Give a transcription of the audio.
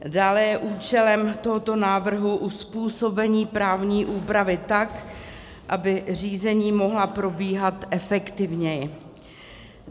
Dále je účelem tohoto návrhu uzpůsobení právní úpravy tak, aby řízení mohla probíhat efektivněji.